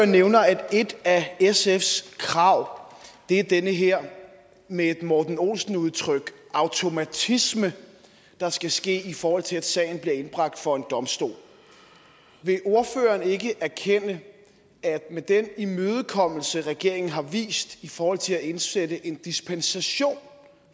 nævner at et af sfs krav er den her med et morten olsen udtryk automatisme der skal ske i forhold til at sagen bliver indbragt for en domstol vil ordføreren ikke erkende at med den imødekommelse regeringen har vist i forhold til at indsætte en dispensation